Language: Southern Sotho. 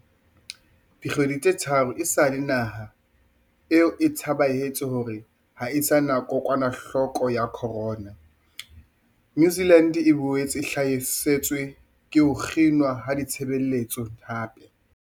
Dikgwedi tse tharo esale naha eo e tsebahatsa hore ha e sa na kokwanahloko ya corona, New Zealand e boetse e hlasetswe ke ho kginwa ha ditshebeletso hape.